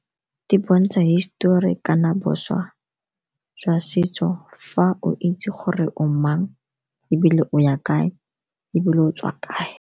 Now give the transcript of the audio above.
Di bontsha hisitori kana boswa jwa setso fa o itse gore o mang ebile o ya kae ebile o tswa kae.